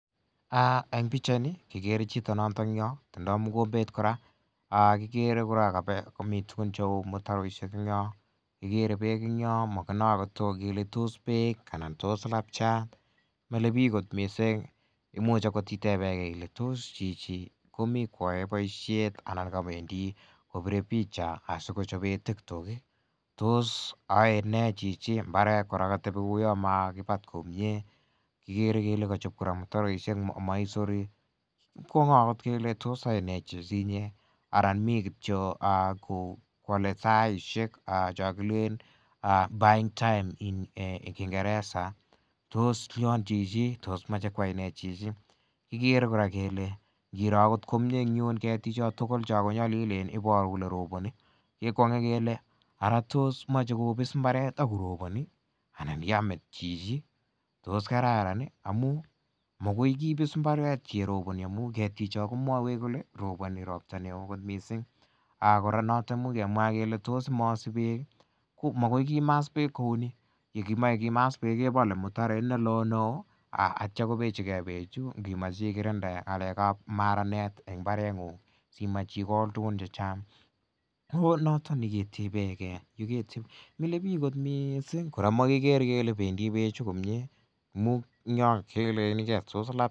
En pichait ni ikere chito en yotong yoo ih , kikere kora komiten tuguk cheuu mutaroisiek en yotong yo, kikere Bek en yo anan tos labchat milebik imuch akoth itebege Ile tos chichi komi koyae boisiet anan kawendi kobire picha asikochaben TikTok tos aenee chichi en mbar nemakibat komie, kikere kele kachob mutaroisiek. Ikwong'e akoth kele tos yaenee chichi inyee anan mi kiyo akowale taisiek chon Killeen buy time en kingereza tos lian chichi tos mache kwainee chichi kikere kora kora kele en bichon tugul koagole kekwonge kele ng'o chekobis imbaret akorobani anan yamet chichi tos kararan amuun mogoi kibisa imbaret akorobani amuun kamwaeech kole robani akora noton imuche kemwa kele , magoi kimasta bek kouni yekimae kimasta bek ih aitya kobechigecbechu imache ikirinde maranet ngo imach ikol tugun chechang tos milebik kot missing komakiker kele bendi bechu amuun kilenen labchat.